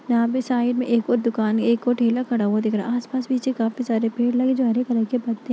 यहाँ पर साइड में एक और दुकान है एक और ठेला खड़ा हुआ दिख रहा है आस पास पीछे काफी सारे पेड़ लगे जो हरे कलर के पत्ते --